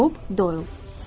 Bob Doylu.